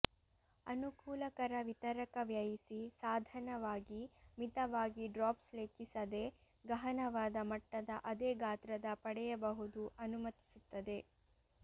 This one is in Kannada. ಅನುಕೂಲಕರ ವಿತರಕ ವ್ಯಯಿಸಿ ಸಾಧನವಾಗಿ ಮಿತವಾಗಿ ಡ್ರಾಪ್ಸ್ ಲೆಕ್ಕಿಸದೆ ಗಹನವಾದ ಮಟ್ಟದ ಅದೇ ಗಾತ್ರದ ಪಡೆಯಬಹುದು ಅನುಮತಿಸುತ್ತದೆ